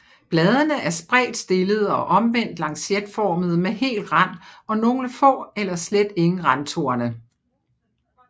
Bladene er spredt stillede og omvendt lancetformede med hel rand og nogle få eller slet ingen randtorne